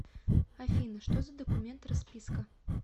афина что за документ расписка